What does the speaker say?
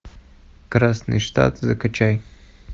красный штат закачай